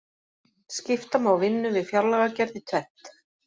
Skipta má vinnu við fjárlagagerð í tvennt.